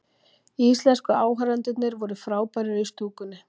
Íslensku áhorfendurnir voru frábærir í stúkunni